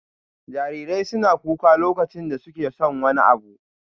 Jarirai suna kuka lokacin da suke son wani abu.